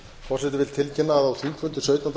forseti vill tilkynna að á þingfundi sautjánda